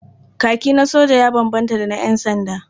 Kaki na soja ya bambanta da na ƴansanda.